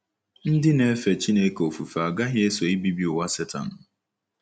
Ndị na-efe Chineke ofufe agaghị eso ibibi ụwa Setan.